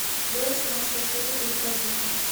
бронь самарская школа ультразвука